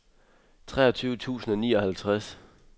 treogtyve tusind og nioghalvtreds